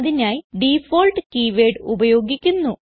അതിനായി ഡിഫോൾട്ട് keywordഉപയോഗിക്കുന്നു